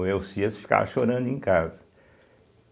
O ficar chorando em casa.